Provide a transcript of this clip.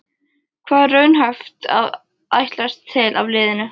Hvað er raunhæft að ætlast til af liðinu?